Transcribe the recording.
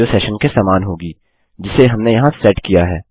जो सेशन के समान होगी जिसे हमने यहाँ सेट किया है